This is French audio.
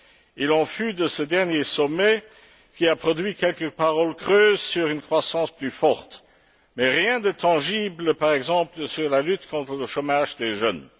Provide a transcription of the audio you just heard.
Il en fut de ce dernier sommet qui a produit quelques paroles creuses sur une croissance plus forte mais rien de tangible, par exemple, sur la lutte contre le chômage des jeunes.